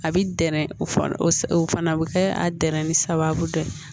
A bi gɛrɛ o fana o o fana bi kɛ a dɛrɛnin sababu dɔ ye